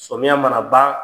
Sɔmiyan mana ban.